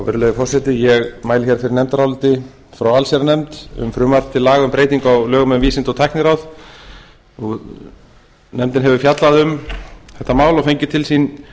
virðulegi forseti ég mæli hér fyrir nefndaráliti frá allsherjarnefnd um frumvarp til laga um breytingu á lögum um vísinda og tækniráð nefndin hefur fjallað um þetta mál og fengið til sín